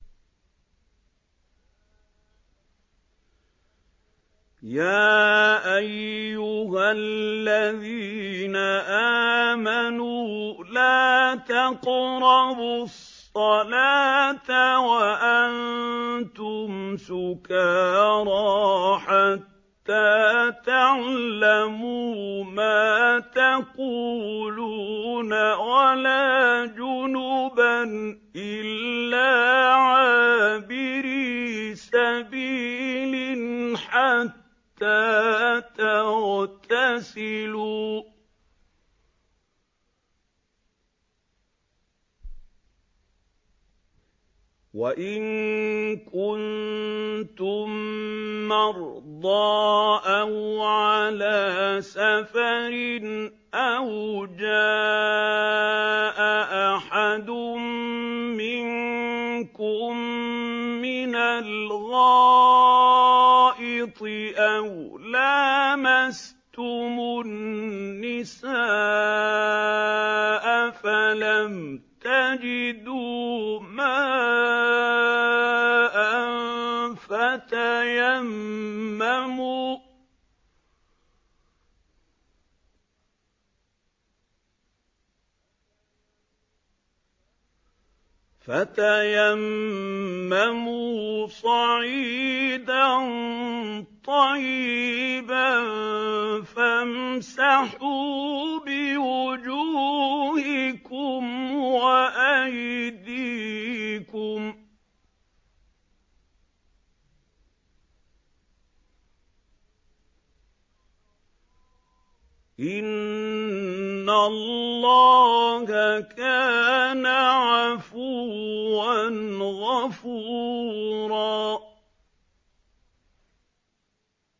يَا أَيُّهَا الَّذِينَ آمَنُوا لَا تَقْرَبُوا الصَّلَاةَ وَأَنتُمْ سُكَارَىٰ حَتَّىٰ تَعْلَمُوا مَا تَقُولُونَ وَلَا جُنُبًا إِلَّا عَابِرِي سَبِيلٍ حَتَّىٰ تَغْتَسِلُوا ۚ وَإِن كُنتُم مَّرْضَىٰ أَوْ عَلَىٰ سَفَرٍ أَوْ جَاءَ أَحَدٌ مِّنكُم مِّنَ الْغَائِطِ أَوْ لَامَسْتُمُ النِّسَاءَ فَلَمْ تَجِدُوا مَاءً فَتَيَمَّمُوا صَعِيدًا طَيِّبًا فَامْسَحُوا بِوُجُوهِكُمْ وَأَيْدِيكُمْ ۗ إِنَّ اللَّهَ كَانَ عَفُوًّا غَفُورًا